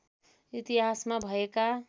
इतिहासमा भएका